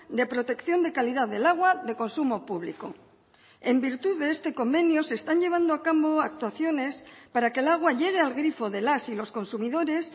de protección de calidad del agua de consumo público en virtud de este convenio se están llevando a cabo actuaciones para que el agua llegue al grifo de las y los consumidores